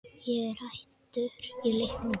Ég er hættur í leiknum